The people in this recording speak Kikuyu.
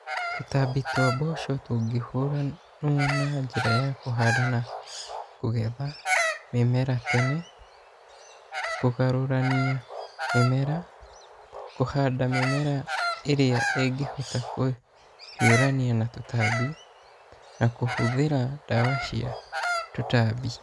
Tũtambi twa mboco tũngĩhuranwo na njĩra ya kũhanda na kũgetha mĩmera tene, kũgarũrania mĩmera, kũhanda mĩmera ĩrĩa ĩngĩhota kũhiũrania na tũtambi na kũhũthĩra ndawa cia tũtambi.